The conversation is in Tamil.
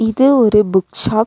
இது ஒரு புக் ஷாப் .